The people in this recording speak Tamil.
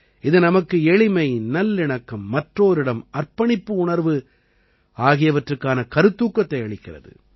இது நமக்கு எளிமை நல்லிணக்கம் மற்றோரிடம் அர்ப்பணிப்பு உணர்வு ஆகியவற்றுக்கான கருத்தூக்கத்தை அளிக்கிறது